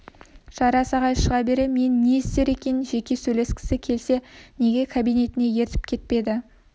жарас ағай шыға бере мен не істер екен жеке сөйлескісі келсе неге кабинетіне ертіп кетпейді